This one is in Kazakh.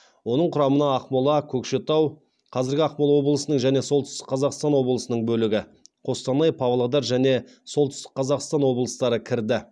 оның құрамына ақмола көкшетау қостанай павлодар және солтүстік қазақстан облыстары кірді